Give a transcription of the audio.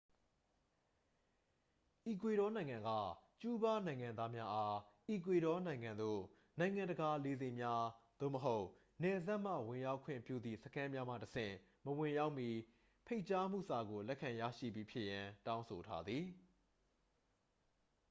အီကွေဒေါနိုင်ငံက ကျူးဘားနိုင်ငံသားများအား အီကွေဒေါနိုင်ငံသို့ နိုင်ငံတကာလေဆိပ်များ သို့မဟုတ် နယ်စပ်မှ ဝင်ရောက်ခွင့်ပြုသည့်စခန်းများမှတဆင့် မဝင်ရောက်မီ ဖိတ်ကြားမှုစာကို လက်ခံရရှိပြီးဖြစ်ရန် တောင်းဆိုထားသည်